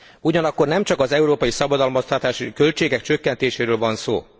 Ugyanakkor nem csak az európai szabadalmaztatási költségek csökkentéséről van szó.